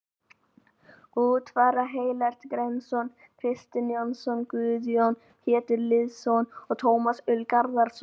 Út fara Ellert Hreinsson, Kristinn Jónsson, Guðjón Pétur Lýðsson og Tómas Ól Garðarsson.